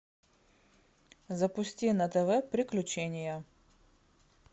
запусти на тв приключения